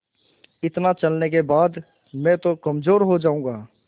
इतना चलने के बाद मैं तो कमज़ोर हो जाऊँगा